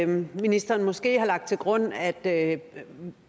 ministeren måske har lagt til grund at